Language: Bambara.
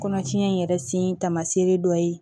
Kɔnɔtiɲɛ in yɛrɛ sen tamaseere ye dɔ ye